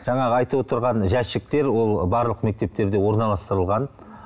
жаңағы айтып отырған жәшіктер ол барлық мектептерде орналыстырылған